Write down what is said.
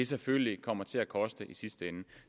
selvfølgelig kommer til at koste i sidste ende